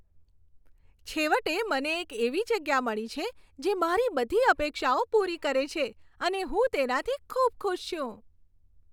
છેવટે, મને એક એવી જગ્યા મળી છે જે મારી બધી અપેક્ષાઓ પૂરી કરે છે અને હું તેનાથી ખૂબ ખુશ છું.